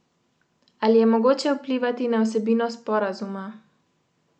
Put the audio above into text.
Ali je mogoče vplivati na vsebino sporazuma?